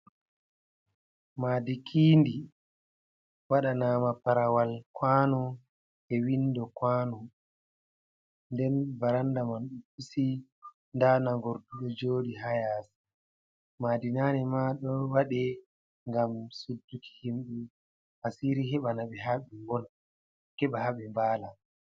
Maadi kiindi, waɗanama parawal kwaano e windo kwano. Nden baranda man pusi, nda nangorɗu ɗo jooɗi ha yaasi. Maadi nane ma ɗon waɗe, ngam sudduki himɓe asiri heɓa na ɓe ha ɓe ngona, heɓa ha ɓe mbaala.